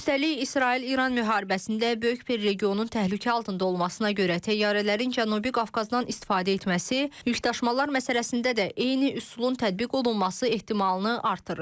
Üstəlik, İsrail-İran müharibəsində böyük bir regionun təhlükə altında olmasına görə təyyarələrin Cənubi Qafqazdan istifadə etməsi yükdaşımalar məsələsində də eyni üsulun tətbiq olunması ehtimalını artırır.